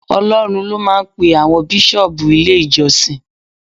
Ọlọ́run ló máa ń pe àwọn Bíṣọ́ọ̀bù ilé ìjọsìn.